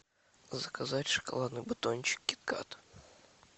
заказать шоколадный батончик кит кат